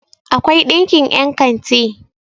akwai ɗinkin yankanti